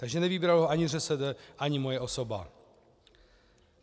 Takže nevybral ho ani ŘSD ani moje osoba.